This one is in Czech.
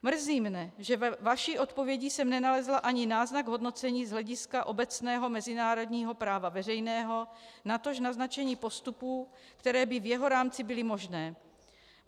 Mrzí mě, že ve vaší odpovědi jsem nenalezla ani náznak hodnocení z hlediska obecného mezinárodního práva veřejného, natož naznačení postupů, které by v jeho rámci byly možné.